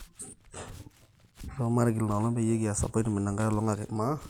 ntosho matigil ina olong peyie aas appointmement enkae olong ake